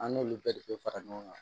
An n'olu bɛɛ de bɛ fara ɲɔgɔn kan